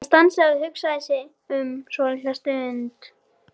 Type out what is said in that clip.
Hann stansaði og hugsaði sig um svolitla stund.